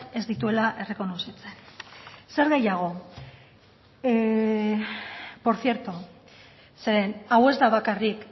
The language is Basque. ez dituela errekonozitzen zer gehiago por cierto zeren hau ez da bakarrik